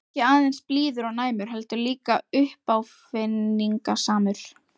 Ekki aðeins blíður og næmur- heldur líka uppáfinningasamur.